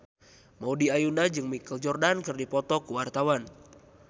Maudy Ayunda jeung Michael Jordan keur dipoto ku wartawan